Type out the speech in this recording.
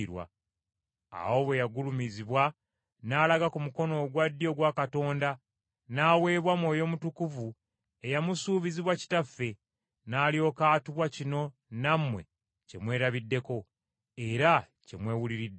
Awo bwe yagulumizibwa n’alaga ku mukono ogwa ddyo ogwa Katonda, n’aweebwa Mwoyo Mutukuvu eyamusuubizibwa Kitaffe, n’alyoka atuwa kino nammwe kye mwerabiddeko era kye mwewuliriddeko.